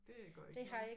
Det gør ikke noget